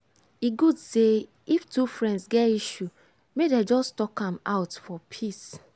e good say if two friends get issue make dem just talk am out for peace.